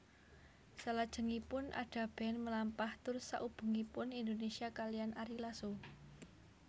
Salajengipun Ada Band melampah tur saubengipun Indonesia kaliyan Ari Lasso